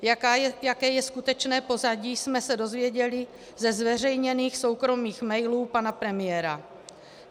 Jaké je skutečné pozadí, jsme se dozvěděli ze zveřejněných soukromých mailů pana premiéra.